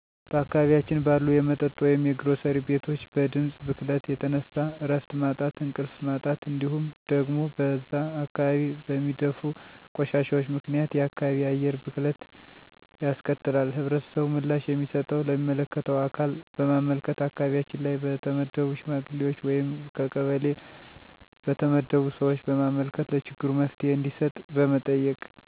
በአካባቢያችን ባሉ የመጠጥ ወይም የግሮሰሪ ቤቶች በድምጽ ብክለት የተነሳ እረፍት ማጣት እንቅልፍ ማጣት እንዲሁም ደግሞ በዛ አካባቢ በሚደፉ ቆሻሻዎች ምክንያት የአካባቢ አየር ብክለት ያስከትላል። ህብረተሰቡ ምላሽ የሚሰጠው ለሚመለከተው አካል በማመልከት አካባቢያችን ላይ በተመደቡ ሽማግሌዎች ወይም ከቀበሌ በተመደቡ ሰዎች በማመልከት ለችግሩ መፍትሄ እንዲሰጥ በመጠየቅ